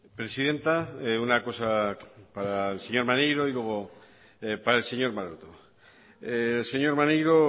presidenta una cosa para el señor maneiro y luego para el señor maroto señor maneiro